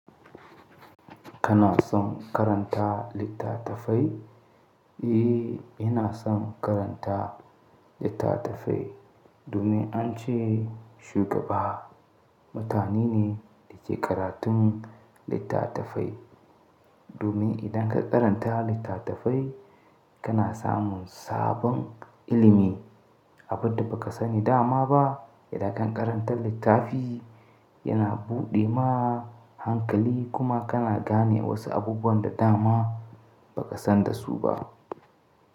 Kana son karanta littatafai? Eh, ina son karanta littatafai domin an ce shugaba mutane ne da ke karatun littatafai. Domin idan ka karanta littatafai kana samun sabon ilimi, abunda ba ka sani da ma ba. Idan ka karanta littafi yana buɗe ma hankali kuma kana gane wasu abubuwan da da ma ba ka san da su ba.